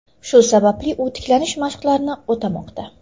Shu sababli u tiklanish mashqlarini o‘tamoqda.